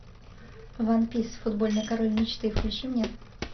ван пис футбольный король мечты включи мне